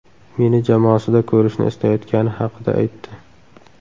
Meni jamoasida ko‘rishni istayotgani haqida aytdi.